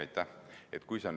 Aitäh!